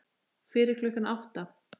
Fyrir klukkan átta?